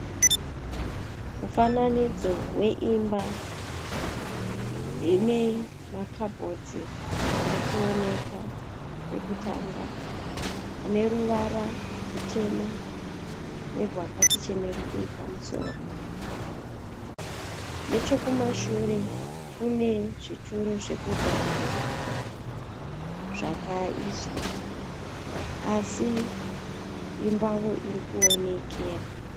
Mufananidzo weimba ine ma kabhodhi arikuoneka kwekutanga. Ane ruvarara rutema nerwakati chenerukei pamusoro. Nechekumashure kune zvituru zvekugarira zvakaiswa, así imbawo iri kuonekera.